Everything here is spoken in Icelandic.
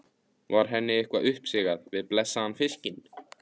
Var henni eitthvað uppsigað við blessaðan fiskinn?